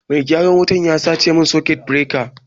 Mai gyaran wutan ya sace min sakut bireka